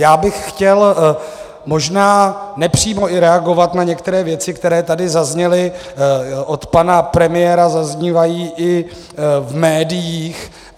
Já bych chtěl možná i nepřímo reagovat na některé věci, které tady zazněly, od pana premiéra zaznívají i v médiích.